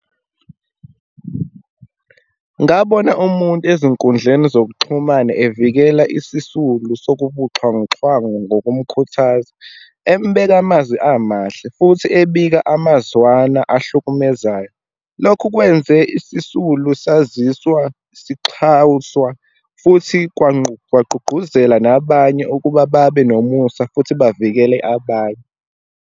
Ngabona umuntu ezinkundleni zokuxhumana evikela isisulu sokubuxhwanguxhwangu ngokumkhuthaza, embeka amazwi amahle, futhi ebika amazwana ahlukumezayo. Lokhu kwenze isisulu saziswa sixhawuswa futhi kwagqugquzela nabanye ukuba babe nomusa, futhi bavikele abanye.